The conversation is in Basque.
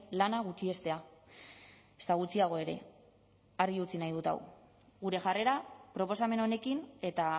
lana gutxiestea ezta gutxiago ere argi utzi nahi dut hau gure jarrera proposamen honekin eta